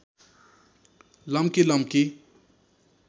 लम्की लम्की